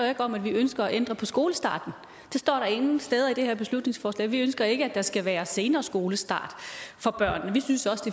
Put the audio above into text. om at vi ønsker at ændre på skolestarten det står der ingen steder i det her beslutningsforslag vi ønsker ikke at der skal være senere skolestart for børnene vi synes også